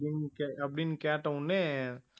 அப்படின்னு கேட்ட உடனே